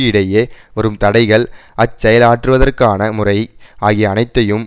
இடையே வரும் தடைகள் அச்செயலாற்றுதவற்கான முறை ஆகிய அனைத்தையும்